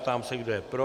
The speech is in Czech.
Ptám se, kdo je pro.